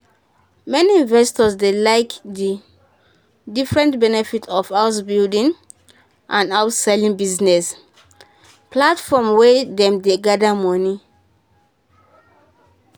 many investors dey like the different benefit of house-building and house-selling business platforms wey dem dey gather money